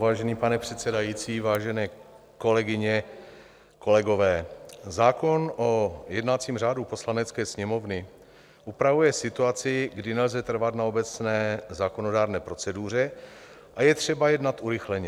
Vážený pane předsedající, vážené kolegyně, kolegové, zákon o jednacím řádu Poslanecké sněmovny upravuje situaci, kdy nelze trvat na obecné zákonodárné proceduře a je třeba jednat urychleně.